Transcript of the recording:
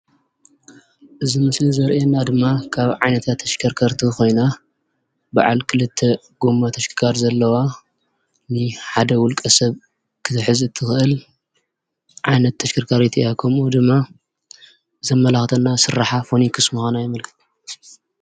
እዚ ምስሊ ዘርእየና ድማ ካብ ዓይነታት ተሽከርከርቲ ኮይና በዓል ክልተ ጎማ ተሽከርካሪ ዘለዋ ኮይና ንሓደ ውልቀ ሰብ ክትሕዝ እትክእል ዓይነት ተሽከርካሪት እያ፡፡ ከምኡ ድማ ዘመላክተና ስራሓ ፎኑክስ ምኳና የመልክት፡፡